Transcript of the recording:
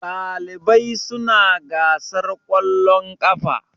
ɗalibai suna gasar ƙwallon kafa